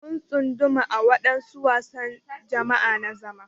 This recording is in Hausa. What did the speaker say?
Mun tsunduma a wadansu wasan jama'a na zama.